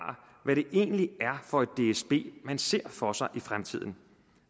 hvad det egentlig er for et dsb man ser for sig i fremtiden